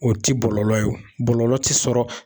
O ti bɔlɔlɔ ye bɔlɔlɔ tɛ sɔrɔ